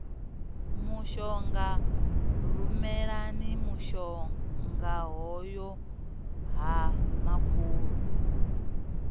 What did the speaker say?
mushonga rumelani mushongahoyu ha makhulu